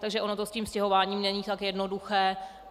Takže ono to s tím stěhováním není tak jednoduché.